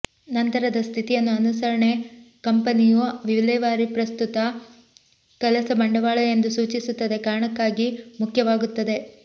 ನಂತರದ ಸ್ಥಿತಿಯನ್ನು ಅನುಸರಣೆ ಕಂಪೆನಿಯು ವಿಲೇವಾರಿ ಪ್ರಸ್ತುತ ಕೆಲಸ ಬಂಡವಾಳ ಎಂದು ಸೂಚಿಸುತ್ತದೆ ಕಾರಣಕ್ಕಾಗಿ ಮುಖ್ಯವಾಗುತ್ತದೆ